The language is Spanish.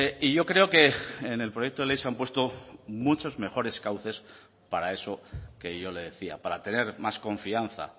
y yo creo que en el proyecto de ley se han puesto muchos mejores cauces para eso que yo le decía para tener más confianza